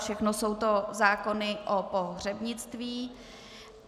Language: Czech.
Všechno jsou to zákony o pohřebnictví.